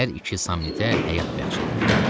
Hər iki Samnitə həyat bəxş edildi.